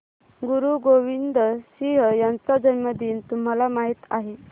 गुरु गोविंद सिंह यांचा जन्मदिन तुम्हाला माहित आहे